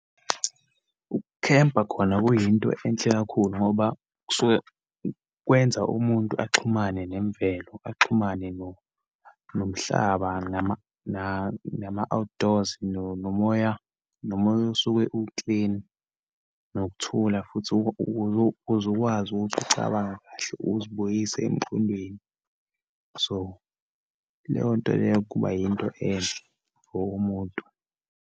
Ukukhempa khona kuyinto enhle kakhulu ngoba, kusuke kwenza umuntu axhumane nemvelo, axhumane nomhlaba, nama-outdoors, nomoya osuke uklini, nokuthula futhi, kuze ukwazi ukuthi ucabange kahle, uzibuyise emqondweni. So, leyo nto leyo kuba yinto enhle for umuntu.